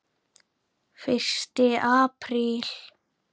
FYRSTI APRÍL